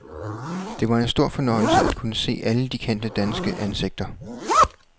Det var en stor fornøjelse at kunne se alle de kendte danske ansigter.